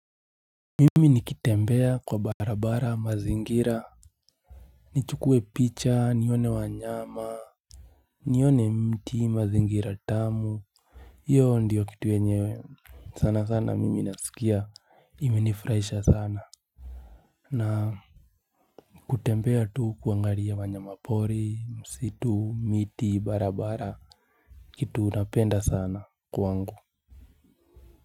Mimi nikitembea kwa barabara mazingira. Nichukue picha, nione wanyama, nione mti mazingira tamu. Hiyo ndiyo kitu yenye sana sana mimi nasikia imenifurahisha sana. Na kutembea tu kuangaria wanyamapori, msitu, miti, barabara kitu unapenda sana kwangu Muzika.